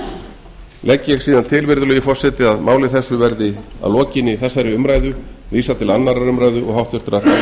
frumvarpið legg ég síðan til virðulegi forseti að máli þessu verði að lokinni þessari umræðu vísað til annarrar umræðu og háttvirtrar